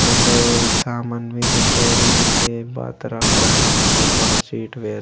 अंडे सामन मिन्दे पोड़ी मिन्दे बात रक रखा मिन्दे पूरा सीट वेल --